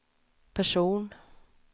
person